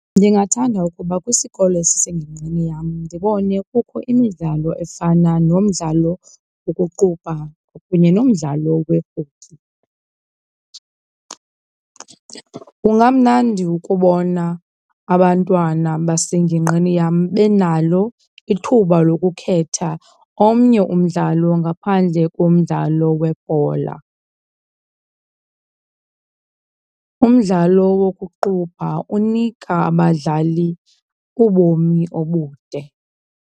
Ndingathanda ukuba kwisikolo esisengingqini yam ndibone kukho imidlalo efana nomdlalo wokuqubha kunye nomdlalo we-hockey. Kungamnandi ukubona abantwana basengingqini yam benalo ithuba lokukhetha omnye umdlalo ngaphandle komdlalo webhola. Umdlalo wokuqubha unika abadlali ubomi obude.